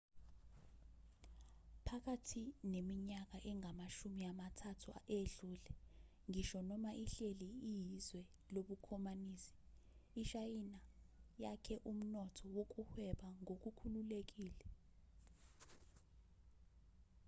phakathi neminyaka engamashumi amathathu edlule ngisho noma ihleli iyizwe lobukhomanisi ishayina yakhe umnotho wokuhweba ngokukhululekile